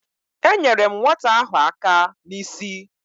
Enyere m nwata ahụ aka n’isi